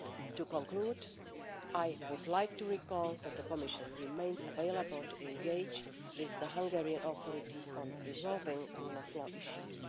To conclude, I would like to recall that the Commission remains available to engage with the Hungarian authorities on resolving rule of law issues.